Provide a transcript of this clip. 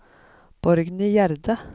Borgny Gjerde